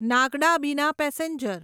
નાગડા બીના પેસેન્જર